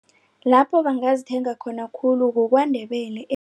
Lapho bangazithenga khona khulu kukwaNdebele